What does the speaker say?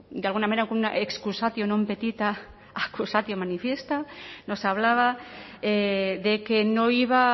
de alguna manera con una excusatio non petita accusatio manifiesta nos hablaba de que no iba